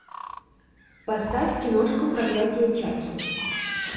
поставь киношку проклятие чакки